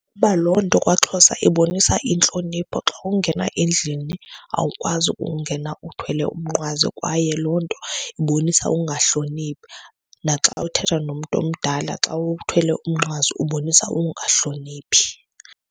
Kuba loo nto kwaXhosa ibonisa intlonipho. Xa ungena endlini awukwazi ukungena uthwele umnqwazi kwaye loo nto ibonisa ukungahloniphi. Naxa uthetha nomntu omdala xa uthwele umnqwazi ubonisa ukungahloniphi.